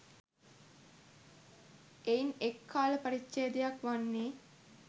එයින් එක් කාල පරිච්ඡේදයක් වන්නේ